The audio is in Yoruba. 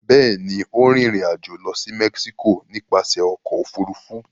Bẹ́ẹ̀ ni, ó rìnrìn-àjò lọ sí Mexico nípasẹ̀ ọkọ̀-òfurufú.